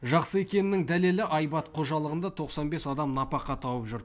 жақсы екенінің дәлелі айбат қожалығында тоқсан бес адам нәпақа тауып жүр